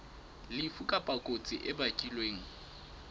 lefu kapa kotsi e bakilweng